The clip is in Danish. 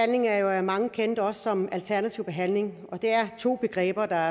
er jo af mange kendt også som alternativ behandling og det er to begreber der